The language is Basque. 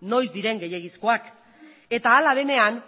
noiz diren gehiegizkoak eta hala denean